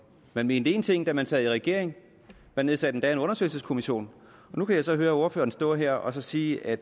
man mente en ting da man sad i regering man nedsatte endda en undersøgelseskommission og nu kan jeg så høre ordføreren stå her og sige at